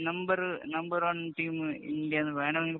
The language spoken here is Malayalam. number number‍ one‍ team India എന്ന് വേണെമെങ്കില്‍